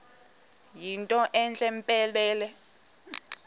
yinto entle mpelele